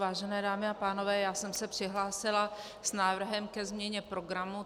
Vážené dámy a pánové, já jsem se přihlásila s návrhem ke změně programu.